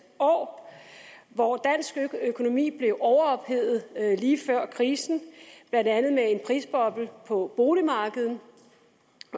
år hvor dansk økonomi blev overophedet lige før krisen blandt andet med en prisboble på boligmarkedet